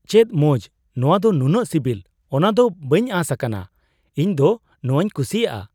ᱪᱮᱫ ᱢᱚᱡ ! ᱱᱚᱣᱟ ᱫᱚ ᱱᱩᱱᱟᱹᱜ ᱥᱤᱵᱤᱞ, ᱚᱱᱟ ᱫᱚ ᱵᱟᱹᱧ ᱟᱥ ᱟᱠᱟᱱᱟ ᱾ ᱤᱧ ᱫᱚ ᱱᱚᱣᱟᱧ ᱠᱩᱥᱤᱭᱟᱜᱼᱟ ᱾